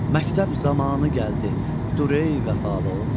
Məktəb zamanı gəldi, durey vəfalı oğlum.